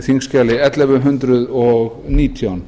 þingskjali ellefu hundruð og nítján